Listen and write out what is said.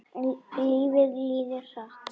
En lífið líður hratt.